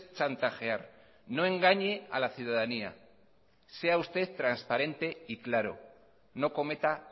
chantajear no engañe a la ciudadanía sea usted transparente y claro no cometa